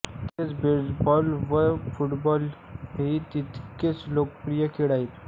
तसेच बेसबॉल व फुटबाल हे तितकेच लोकप्रिय खेळ आहेत